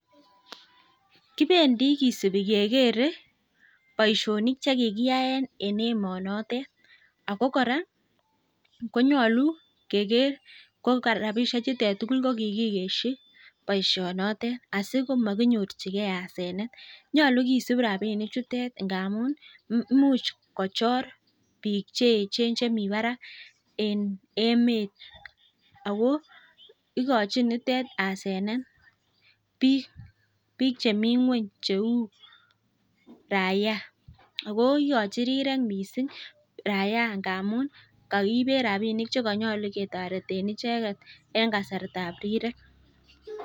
Kibendi kisipi kekerei boishonik che kikiyae en emonotet. Ako kora konyolu keker ko rapishechutet ko kikigeshi boishonotet. Asi komakinyorchigei asenet . Nyolu kisup rapinichutet amun much kochor biik chemi barak eng emet. Ako igochi nitet asenet biik chemi ng'weny cheu raiya ako ikochi rirek mising raiya amun kakiibe rapinik che kanyolu ketoreten icheket eng kasartab rirek.